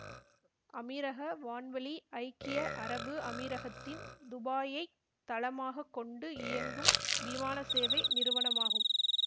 அமீரக வான்வழி ஐக்கிய அரபு அமீரகத்தின் துபாயைத் தளமாக கொண்டு இயங்கும் விமானசேவை நிறுவனமாகும்